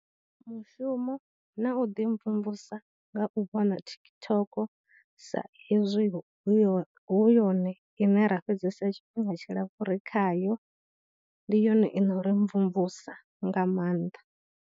Mushumo na u ḓi mvumvusa nga u vhona TikTok sa ezwi hu yo, hu yone ine ra fhedzesa tshifhinga tshilapfhu ri khayo, ndi yone ino uri mvumvusa nga maanḓa.